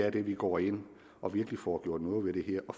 at vi går ind og virkelig får gjort noget ved det her og